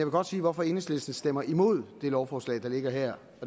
godt sige hvorfor enhedslisten stemmer imod det lovforslag der ligger her